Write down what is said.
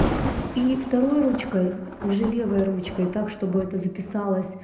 и второй ручкой уже левой ручкой так чтобы это записалось